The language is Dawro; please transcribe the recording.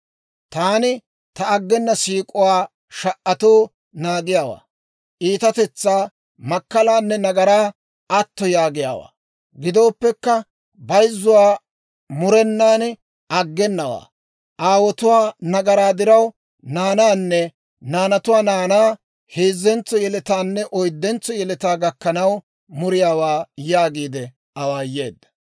Taani ta aggena siik'uwaa sha"atoo naagiyaawaa; iitatetsaa, makkalaanne nagaraa atto yaagiyaawaa. Gidooppekka, bayzzowaa murenan aggenawaa; aawotuwaa nagaraa diraw naanaanne naanatuwaa naanaa, heezzentso yeletaanne oyddentso yeletaa gakkanaw muriyaawaa» yaagiide awaayeedda.